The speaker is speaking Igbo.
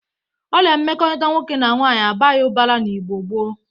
Ọrịa mmekọrịta nwoke na nwaanyị abaghị ụbara na Igbo gboo.